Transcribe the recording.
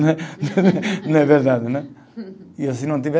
Não é. Não é verdade, né? E se não tiver